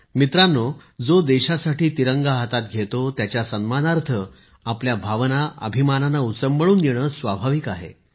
मित्रांनो जो देशासाठी तिरंगा हातात घेतो त्याच्या सन्मानार्थ आपल्या भावना अभिमानाने उचंबळून येणं स्वाभाविक आहे